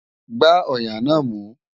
Gbá ọ̀yà náà mú!